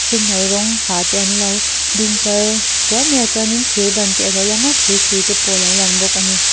a senno rawng ha ten anlo ding tlar tuar mai a chuanin thir ban te alo lang thir hrui te alo lang bawk ani.